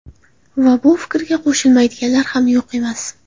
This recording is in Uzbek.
Va bu fikrga qo‘shilmaydiganlar ham yo‘q emas.